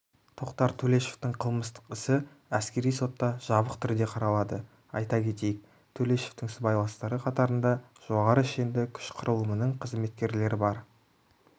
тоқтар төлешовтың қылмыстық ісі әскери сотта жабық түрде қаралады айта кетейік төлешовтың сыбайластары қатарында жоғары шенді күш құрылымының қызметкерлері бар